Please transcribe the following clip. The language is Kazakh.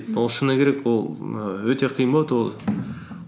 ол шыны керек ол ііі өте қиын болады